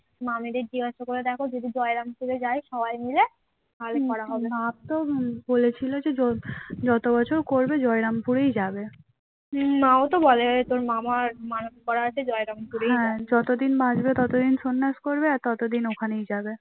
যতদিন বাঁচবে ততদিন সন্ন্যাস করবে আর ততদিন ওখানেই যাবে